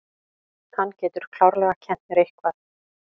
Hann getur klárlega kennt mér eitthvað.